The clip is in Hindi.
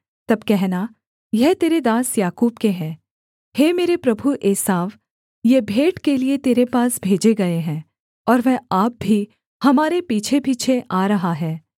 तब कहना यह तेरे दास याकूब के हैं हे मेरे प्रभु एसाव ये भेंट के लिये तेरे पास भेजे गए हैं और वह आप भी हमारे पीछेपीछे आ रहा है